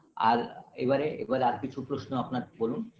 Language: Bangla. আর এবারে এবার আর কিছু প্রশ্ন আপনার বলুন